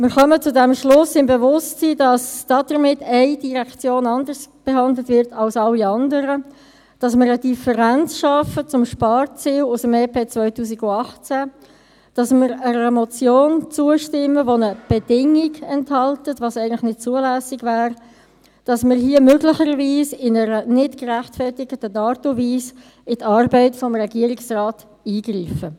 Wir kommen zu diesem Schluss, im Bewusstsein, dass damit eine Direktion anders behandelt wird als alle anderen, dass wir eine Differenz schaffen zum Sparziel aus dem EP 2018, dass wir einer Motion zustimmen, die eine Bedingung enthält – was eigentlich nicht zulässig wäre – und dass wir hier möglicherweise in einer nicht gerechtfertigten Art und Weise in die Arbeit des Regierungsrates eingreifen.